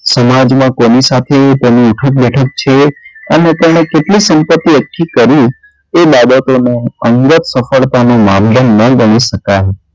સમાજમાં કોની સાથે તેની ઉઠક -બેઠક છે અને તેને કેટલી સંપતિ એકઠી કરી તે બાબતોનો અંગત સફળતાનો મામલો ન બની શકાય એમ,